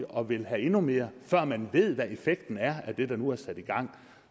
og vil have endnu mere før man ved hvad effekten er af det der nu er sat i gang